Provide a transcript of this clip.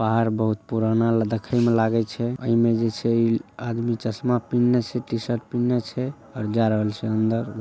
पहाड़ बहुत पुराना देखे में लागे छै ओय में जेई छै आदमी चश्मा पिहने छै टी-शर्ट पिहने छै और जाय रहल छै अंदर ।